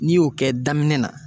N'i y'o kɛ daminɛ na